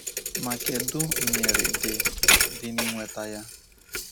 Ma kedụ nyiri dị dị na inweta ya?